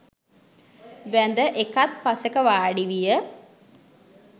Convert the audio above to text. වැඳ එකත්පසෙක වාඩි විය.